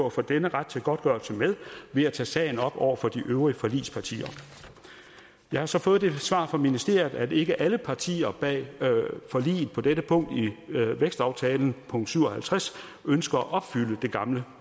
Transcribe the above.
at få denne ret til godtgørelse med ved at tage sagen op over for de øvrige forligspartier jeg har så fået det svar fra ministeriet at ikke alle partier bag forliget på dette punkt i vækstaftalen punkt syv og halvtreds ønsker at opfylde det gamle